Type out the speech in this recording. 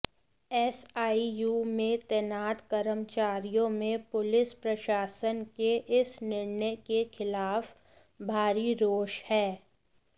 SIU में तैनात कर्मचारियों में पुलिस प्रशासन के इस निर्णय के खिलाफ भारी रोष है